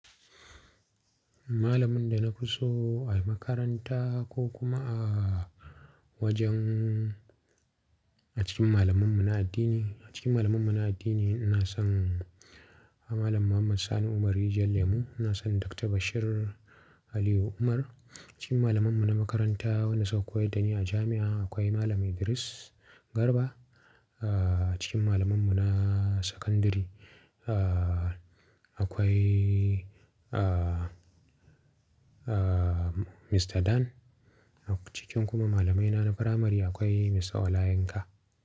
Malamin da na fi so a makaranta ko kuma a wajen a cikin malamanmu na addini, a cikin malamanmu na addini ina son Malam Muhammad Sani Umar Rijar Lemu, ina son Dr. Bashir Aliyu Umar. A cikin malamanmu na makaranta wanda saukowa da ni a jami'a akwai Malam Idris Garba. A cikin malamanmu na sakandare akwai Mr. Dan, a cikin kuma malamaina na firamare akwai Mr. Ola Yinka.